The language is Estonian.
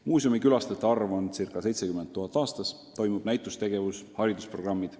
Muuseumi külastajate arv on ca 70 000 aastas, korraldatakse näitusi, on haridusprogrammid.